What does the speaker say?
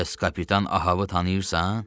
Bəs kapitan Ahava tanıyırsan?